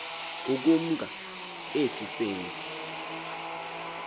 ukumka esi senzi